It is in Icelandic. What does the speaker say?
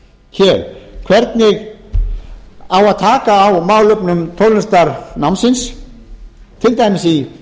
hér hvernig á að taka á málefnum tónlistarnámsins til dæmis í